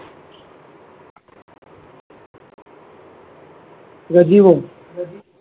પ્રજીવો પ્રજી